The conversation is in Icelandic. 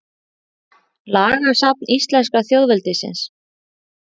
Lagasafn íslenska þjóðveldisins.